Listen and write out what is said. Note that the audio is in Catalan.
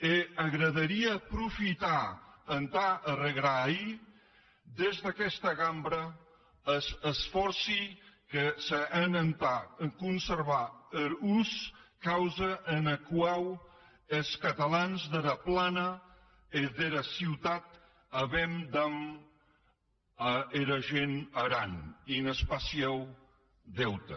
e m’agradarie profitar entà arregraïr des d’aguesta cambra es esfòrci que se hèn entà conservar er os causa ena quau es catalans dera plana e dera ciutat auem damb era gent d’aran un especiau deute